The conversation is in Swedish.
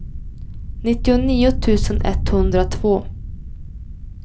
nittionio tusen etthundratvå